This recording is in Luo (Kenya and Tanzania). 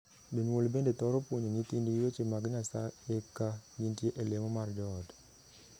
Jonyuol bende thoro puonjo nyithindgi wende mag Nyasayeka gintie e lemo mar joot.